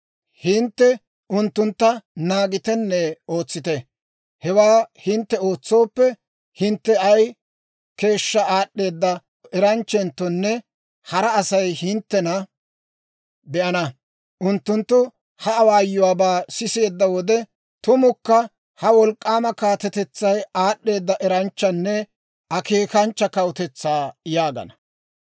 Hintte unttuntta naagitenne ootsite; hewaa hintte ootsooppe, hintte ay keeshshaa aad'd'eeda eranchchenttonne hara Asay hinttena be'ana. Unttunttu ha awaayuwaabaa sisiyaa wode, ‹Tumukka ha wolk'k'aama kaatetetsay aad'd'eeda eranchchanne akeekanchcha kawutetsaa› yaagana.